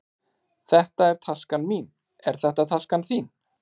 Þetta er taskan mín. Er þetta taskan þín?